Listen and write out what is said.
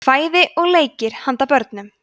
kvæði og leikir handa börnum